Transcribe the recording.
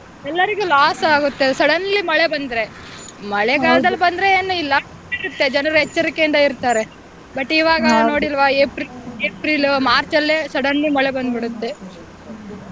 ಎಲ್ಲಾರಿಗು loss ಆಗುತ್ತೆ suddenly ಮಳೆ ಬಂದ್ರೆ ಮಳೆಗಾಲದಲ್ಲಿ ಬಂದ್ರೆ ಏನು ಇಲ್ಲ ಜನರು ಎಚ್ಚರಿಕೆ ಇರ್ತಾರೆ but ಇವಾಗ ನೋಡಿಲ್ವಾ April March ಅಲ್ಲೇ suddenly ಮಳೆ ಬಂದ್ ಬಿಡುತ್ತೇ.